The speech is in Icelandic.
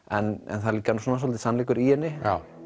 en það er líka svolítill sannleikur í henni